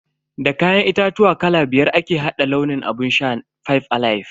Da kayan itatuwa kala biyar ake hada launin abun shan "five alive".